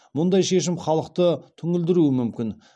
мұндай шешім халықты түңілдіруі мүмкін